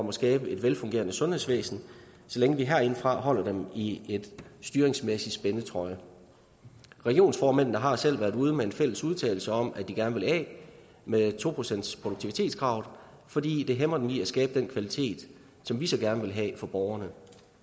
at skabe et velfungerende sundhedsvæsen så længe vi herindefra holder dem i en styringsmæssig spændetrøje regionsformændene har selv været ude med en fælles udtalelse om at de gerne vil af med to procentsproduktivitetskravet fordi det hæmmer dem i at skabe den kvalitet som vi så gerne vil have for borgerne